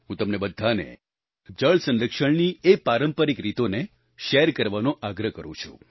હું તમને બધાને જળ સંરક્ષણની એ પારંપારિક રીતોને શેર કરવાનો આગ્રહ કરું છું